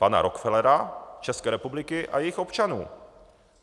Pana Rockefellera, České republiky a jejích občanů.